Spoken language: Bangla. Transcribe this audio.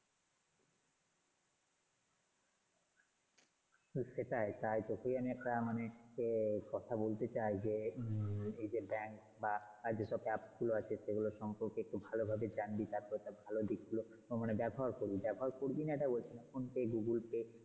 তো সেটাই তাই তোকেই আমি একটা কথা বলতে চাই যে এই যে danks বা আর যে সব app গুলো আছে সেগুলো সম্পর্কে ভালোভাবে জানবি তারপর তার ভালো দিক গুলো মানে ব্যবহার করবি। ব্যবহার করবিনা সেটা বলছিনা। phonepaygoogle pay.